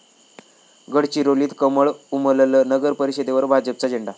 गडचिरोलीत कमळ उमललं, नगरपरिषदेवर भाजपचा झेंडा